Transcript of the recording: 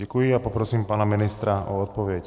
Děkuji a poprosím pana ministra o odpověď.